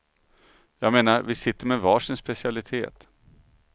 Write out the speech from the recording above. Jag menar, vi sitter med var sin specialitet.